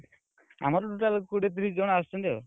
ଆମର total କୋଡିଏ ତିରିଶ ଜଣ ଆସୁଛନ୍ତି ଆଉ।